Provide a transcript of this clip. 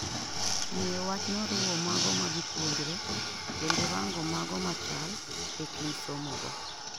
Ng'iyo wachno riwo mago ma gipuonjre kendo rango mago machal e kind somo go